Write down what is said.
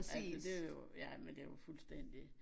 Altså det jo ja men det jo fuldstændig